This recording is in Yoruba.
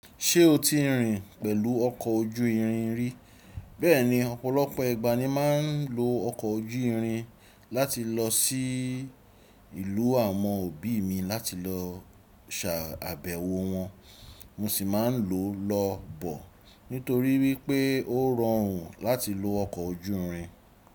Ṣé o ti rìn pẹ̀lú ọkọ̀ ojú irin rí? Bẹ́ẹ̀ni, ọ̀pọ̀lọpọ̀ ẹgbàá ní máa ń lo ọkọ̀ ojú irin láti lọ sí ìlú àwọn òbí mi láti lọ ṣàbẹ̀wọ̀ wọn. Mo sì máa ń lò ó lọ bọ̀ nítorí wípé ó rọrùn láti lo ọkọ̀ ojú irin.